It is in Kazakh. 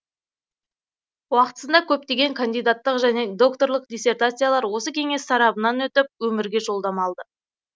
уақытысында көптеген кандидаттық және докторлық диссертациялар осы кеңес сарабынан өтіп өмірге жолдама алды